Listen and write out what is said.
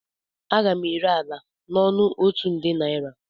Aga m ere ala n'ọnụ otu nde naira